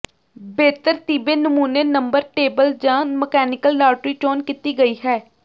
ਬੇਤਰਤੀਬੇ ਨਮੂਨੇ number table ਜ mechanical lottery ਚੋਣ ਕੀਤੀ ਗਈ ਹੈ